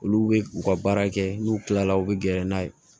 Olu bɛ u ka baara kɛ n'u kilala u bɛ gɛrɛ n'a ye